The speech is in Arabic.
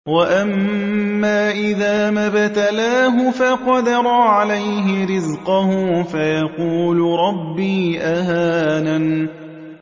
وَأَمَّا إِذَا مَا ابْتَلَاهُ فَقَدَرَ عَلَيْهِ رِزْقَهُ فَيَقُولُ رَبِّي أَهَانَنِ